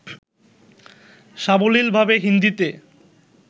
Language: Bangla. সাবলীলভাবে হিন্দীতে